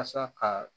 Asa ka